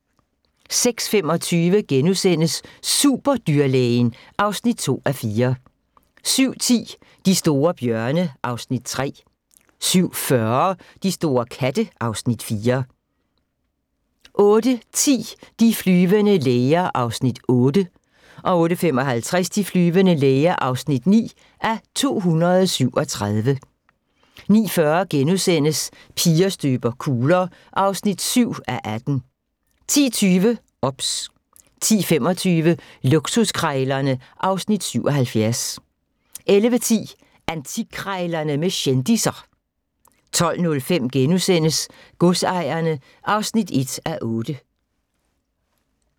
06:25: Superdyrlægen (2:4)* 07:10: De store bjørne (Afs. 3) 07:40: De store katte (Afs. 4) 08:10: De flyvende læger (8:237) 08:55: De flyvende læger (9:237) 09:40: Piger støber kugler (7:18)* 10:20: OBS 10:25: Luksuskrejlerne (Afs. 77) 11:10: Antikkrejlerne med kendisser 12:05: Godsejerne (1:8)*